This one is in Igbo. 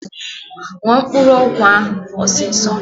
Ñua mkpụrụ ọgwọ a osiso!